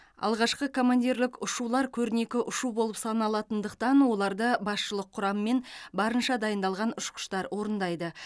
алғашқы командирлік ұшулар көрнекі ұшу болып саналатындықтан оларды басшылық құрам мен барынша дайындалған ұшқыштар орындайды